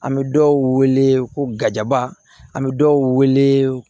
An bɛ dɔw wele ko gaba an bɛ dɔw wele